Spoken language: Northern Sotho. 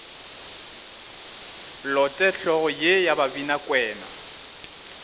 lote hlogo ye ya babinakwena